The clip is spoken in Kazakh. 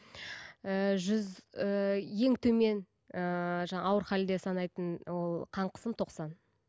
ііі жүз ііі ең төмен ііі жаңағы ауыр халде санайтын ол қан қысым тоқсан